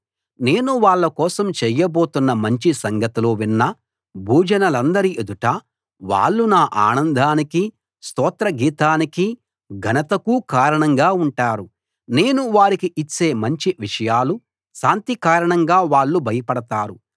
నేను వాళ్ళ కోసం చెయ్యబోతున్న మంచి సంగతులు విన్న భూజనులందరి ఎదుట వాళ్ళు నా ఆనందానికి స్తోత్ర గీతానికి ఘనతకు కారణంగా ఉంటారు నేను వారికి ఇచ్చే మంచి విషయాలు శాంతి కారణంగా వాళ్ళు భయపడతారు